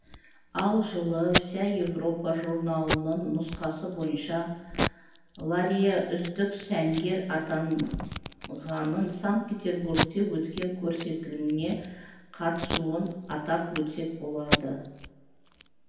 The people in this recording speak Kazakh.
ал жылы вся европа журналының нұсқасы бойынша лария үздік сәнгер атанғанын сант-петербургте өткен көрсетіліміне қатысуын атап өтсек болады